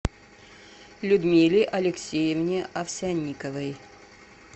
людмиле алексеевне овсянниковой